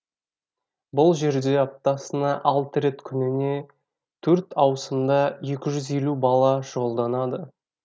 бұл жерде аптасына алты рет күніне төрт ауысымда екі жүз елу бала шұғылданады